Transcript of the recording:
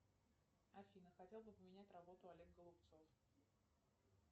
афина хотел бы поменять работу олег голубцов